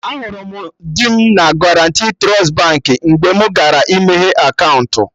Ahụrụ m di m na Guarantee Trust Baankị mgbe mụ gara ịmeghe akaụntụ